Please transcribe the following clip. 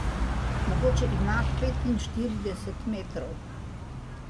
Mogoče ima petinštirideset metrov.